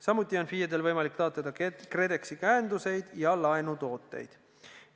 Samuti on FIE-del võimalik taotleda KredExi käenduseid ja laenutooteid.